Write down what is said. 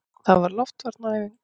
Það var loftvarnaæfing!